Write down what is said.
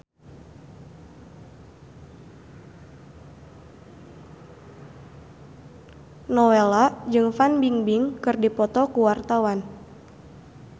Nowela jeung Fan Bingbing keur dipoto ku wartawan